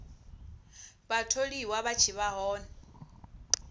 vhatholiwa vha tshi vha hone